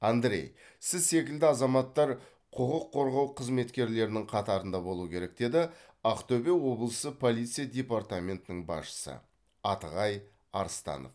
андрей сіз секілді азаматтар құқық қорғау қызметкерлерінің қатарында болу керек деді ақтөбе облысы полиция департаментінің басшысы атығай арыстанов